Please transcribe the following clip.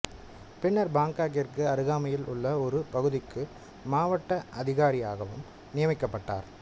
பின்னர் பாங்காக்கிற்கு அருகாமையில் உள்ள ஒரு பகுதிக்கு மாவட்ட அதிகாரியாகவும் நியமிக்கப்பட்டார்